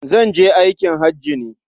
Zan je aikin haji ne.